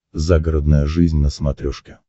загородная жизнь на смотрешке